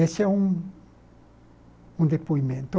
Esse é um um depoimento.